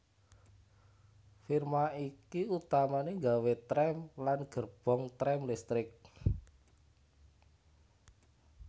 Firma iki utamané nggawé trèm lan gerbong trèm listrik